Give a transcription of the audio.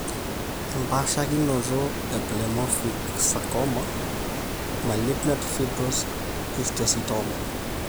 empashakinoto, pleomorphic sarcoma/malignant fibrous histiocytoma.